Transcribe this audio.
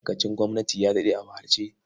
Ma'aikacin gwamnati ya daɗe a wahalce.